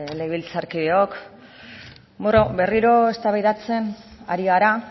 legebiltzarkideok bueno berriro eztabaidatzen ari gara